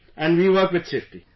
" And we work with safety